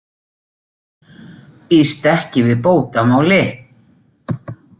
Býst ekki við bótamáli